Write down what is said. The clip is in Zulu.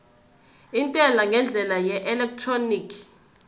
intela ngendlela yeelektroniki